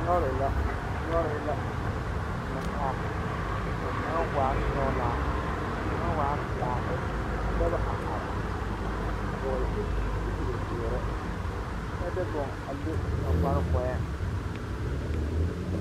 Noba mine la are are ka polisiri meŋ a are ba lamboriŋ kaa poli taa boŋkaŋa kaa tembie kaŋ meŋ nyɔge a bona a polisi naŋ taa